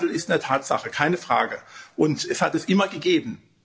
Der Klimawandel ist eine Tatsache, keine Frage, und es hat ihn immer gegeben.